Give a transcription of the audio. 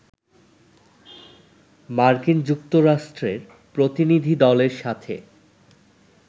মার্কিন যুক্তরাষ্ট্রের প্রতিনিধিদলের সাথে